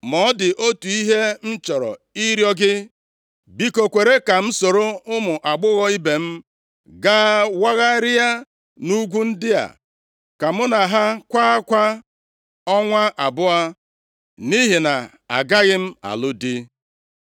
Ma ọ dị otu ihe m chọrọ ịrịọ gị, biko kwere ka m soro ụmụ agbọghọ ibe m gaa wagharịa nʼugwu ndị a, ka mụ na ha kwaa akwa ọnwa abụọ, nʼihi na agaghị m alụ di.”